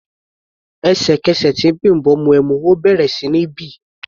Ẹ̀sẹ̀kẹsẹ̀ tí Bimbo mu ẹmu, ó bẹ̀rẹ̀ sí ní bì.